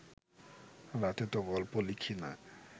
রাতে তো গল্প লিখি না